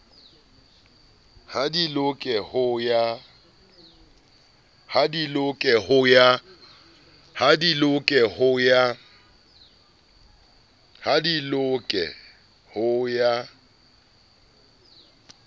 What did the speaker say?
ha di loke ho ya